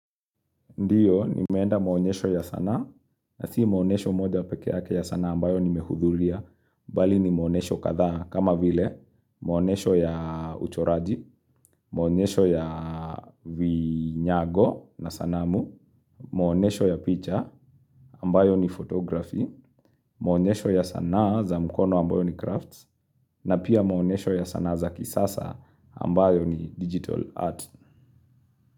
Ndio, nimeenda muonyesho ya sanaa, na si muonyesho moja peke ya sana ambayo nimehudhuria, bali ni muonyesho kadha kama vile, muonyesho ya uchoraji, muonyesho ya vinyago na sanamu, muonyesho ya picha ambayo ni photography, muonyesho ya sana za mkono ambayo ni crafts, na pia muonyesho ya sana za kisasa ambayo ni digital art.